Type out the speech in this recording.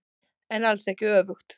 En alls ekki öfugt.